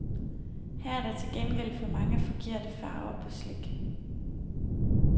Her er der til gengæld for mange forkerte farver på slik.